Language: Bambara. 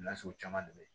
Nasugu caman de ye